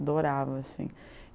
Adorava, assim.